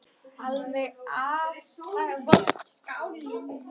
Alveg aftaka vont skáld.